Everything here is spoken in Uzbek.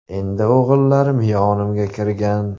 Endi o‘g‘illarim yonimga kirgan.